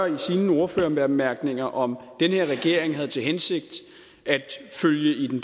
i sine ordførerbemærkninger om den her regering havde til hensigt at følge i den